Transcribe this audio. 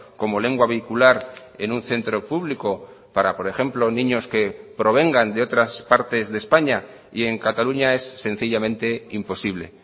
como lengua vehicular en un centro público para por ejemplo niños que provengan de otras partes de españa y en cataluña es sencillamente imposible